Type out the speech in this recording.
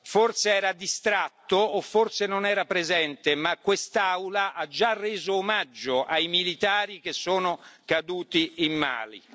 Forse era distratto o forse non era presente, ma quest'Aula ha già reso omaggio ai militari che sono caduti in Mali.